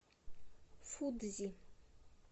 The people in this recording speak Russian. фудзи